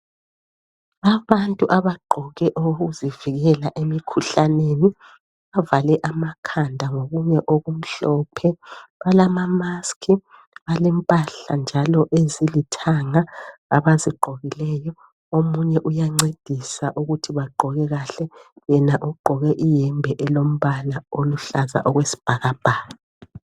Abantu abagqoke okokuzivikela emkhuhlaneni. Bavale amakhanda ngokunye okumhlophe. Balama mask. Balempahla njalo ezilithanga abazigqokileyo. Omunye uyancedisa ukuthi bagqoke kahle. Yena ugqoke iyembe elombala oluhlaza okwesibhakabhaka.